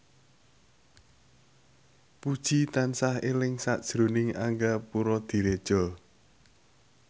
Puji tansah eling sakjroning Angga Puradiredja